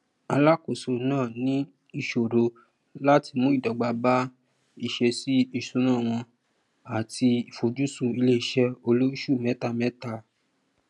alákóso naa ní ìṣòro láti mú ìdọgba bá ìṣẹsíìṣúná wọn ati ìfojusùn iléiṣẹ olósù mẹtamẹta